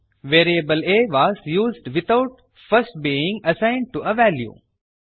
variable a was used without first being assigned to a value